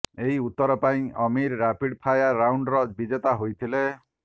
ଏହି ଉତ୍ତର ପାଇଁ ଆମୀର ରାପିଡ୍ ଫାୟର ରାଉଣ୍ଡର ବିଜେତା ହୋଇଥିଲେ